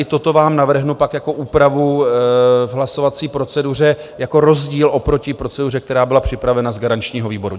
I toto vám navrhnu pak jako úpravu v hlasovací proceduře jako rozdíl oproti proceduře, která byla připravena z garančního výboru.